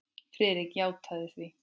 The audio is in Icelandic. Friðrik játaði því.